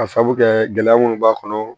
Ka sabu kɛ gɛlɛya munnu b'a kɔnɔ